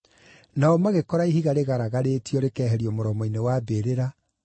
Nao magĩkora ihiga rĩgaragarĩtio rĩkeherio mũromo-inĩ wa mbĩrĩra,